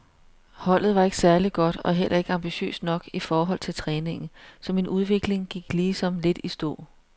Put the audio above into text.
Holdet var ikke særlig godt og heller ikke ambitiøst nok i forhold til træningen, så min udvikling gik ligesom lidt i stå.